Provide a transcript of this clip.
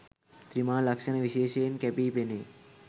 ත්‍රිමාණ ලක්‍ෂණ විශේෂයෙන් කැපී පෙනේ.